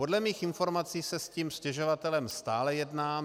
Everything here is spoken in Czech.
Podle mých informací se s tím stěžovatelem stále jedná.